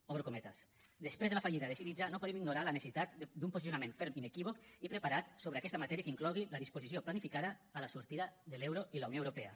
obro cometes després de la fallida de syriza no podem ignorar la necessitat d’un posicionament ferm inequívoc i preparat sobre aquesta matèria que inclogui la disposició planificada a la sortida de l’euro i la unió europea